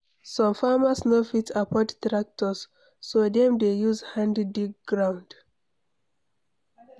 Some farmers no fit afford tractor, so dem dey use hand dig ground